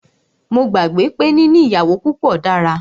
Mó gbàgbé pé níní ìyàwó púpọ dára.